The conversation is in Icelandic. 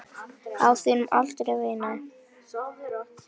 Á þínum aldri, veinaði